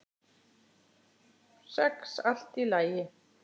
Sex allt í lagi.